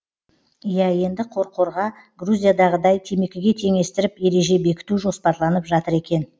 иә енді қорқорға грузиядағыдай темекіге теңестіріп ереже бекіту жоспарланып жатыр екен